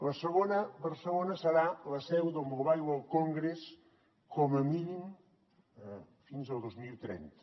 la segona barcelona serà la seu del mobile world congress com a mínim fins al dos mil trenta